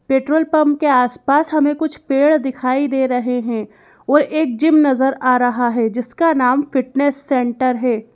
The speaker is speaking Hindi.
पेट्रोल पंप के आसपास हमें कुछ पेड़ दिखाई दे रहे हैं और एक जिम नज़र आ रहा है जिसका नाम फिटनेस सेंटर है।